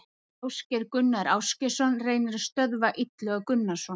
Ásgeir Gunnar Ásgeirsson reynir að stöðva Illuga Gunnarsson.